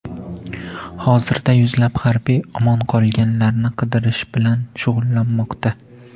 Hozirda yuzlab harbiy omon qolganlarni qidirish bilan shug‘ullanmoqda.